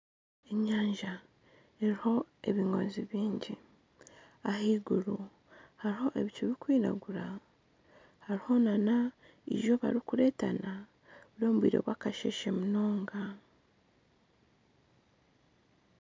Enyanja eriho ebingoozi bingi, ahaiguru hariho ebicu birikwiragura hariho nana eizooba ririkureetana, n'obwire bw'akasheshe munonga